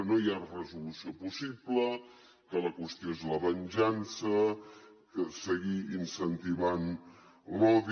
no hi ha resolució possible que la qüestió és la venjança seguir incentivant l’odi